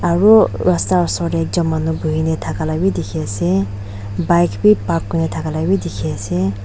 aru rasta osor te manu bohe kini thaka legi dekhi ase bike bhi park kori thaka kori laga bhi dekhi ase.